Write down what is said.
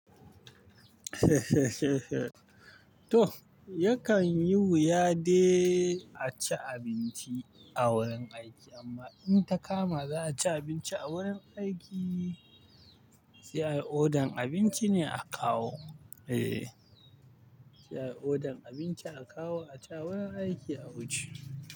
Toh, yakan yi wuya dai a ci abinci a wurin aiki amma in ta kama za a ci abinci a wurin aiki, sai ayi order-n abinci ne a kawo. Eh, sai ayi order abinci a kawo a ci a wurin aiki a wuce.